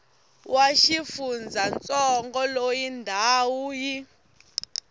wa xifundzantsongo loyi ndhawu yi